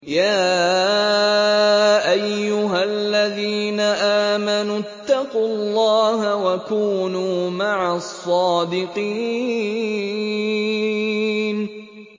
يَا أَيُّهَا الَّذِينَ آمَنُوا اتَّقُوا اللَّهَ وَكُونُوا مَعَ الصَّادِقِينَ